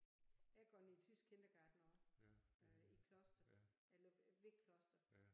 Jeg har gået i tysk Kindergarten også øh i Kloster eller ved Kloster